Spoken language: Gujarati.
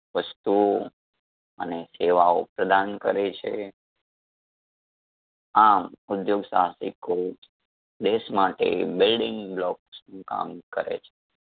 વસ્તુ અને સેવાઓ પ્રદાન કરે છે. આમ ઉધ્યોગ સાહસિકો દેશ માટે building blocks નું કામ કરે છે.